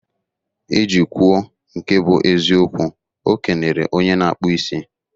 Iji kwuo nke bu eziokwu, okenere onye na-akpụ isi.